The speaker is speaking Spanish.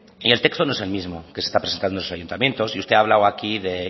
y el texto no es el mismo que se está presentando en los ayuntamientos y usted ha hablado aquí de